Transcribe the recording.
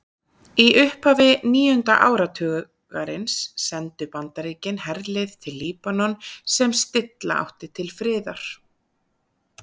Í upphafi níunda áratugarins sendu Bandaríkin herlið til Líbanon sem stilla átti til friðar.